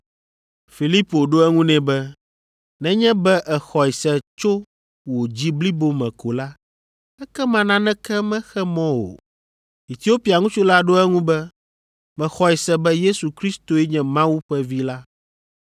Filipo ɖo eŋu nɛ be, “Nenye be èxɔe se tso wò dzi blibo me ko la, ekema naneke mexe mɔ o.” Etiopia ŋutsu la ɖo eŋu be, “Mexɔe se be Yesu Kristoe nye Mawu ƒe Vi la.”